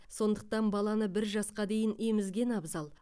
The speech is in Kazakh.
сондықтан баланы бір жасқа дейін емізген абзал